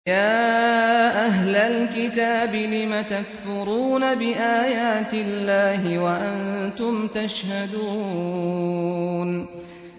يَا أَهْلَ الْكِتَابِ لِمَ تَكْفُرُونَ بِآيَاتِ اللَّهِ وَأَنتُمْ تَشْهَدُونَ